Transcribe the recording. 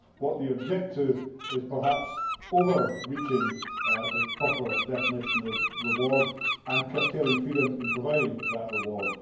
What they object to is, perhaps, overreaching the proper definition of reward and curtailing freedom in providing that reward.